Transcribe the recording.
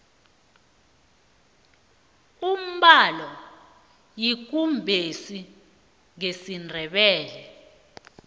umbalo yikumbesi ngesindebele